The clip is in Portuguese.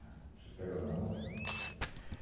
Você pega na mão